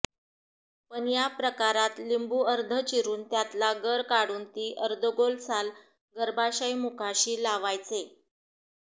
पण या प्रकारात लिंबू अर्धं चिरून त्यातला गर काढून ती अर्धगोल साल गर्भाशयमुखाशी लावायचे